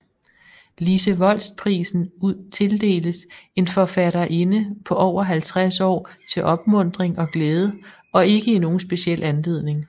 Lise Volst Prisen tildeles en forfatterinde på over 50 år til opmuntring og glæde og ikke i nogen speciel anledning